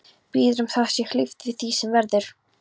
Biður um að þér sé hlíft við því sem verður.